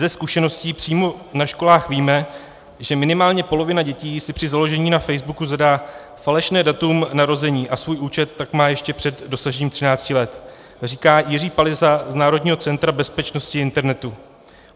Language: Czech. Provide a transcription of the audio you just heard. Ze zkušeností přímo na školách víme, že minimálně polovina děti si při založení na facebooku zadá falešné datum narození a svůj účet tak má ještě před dosažením 13 let, říká Jiří Palyza z Národního centra bezpečnosti internetu.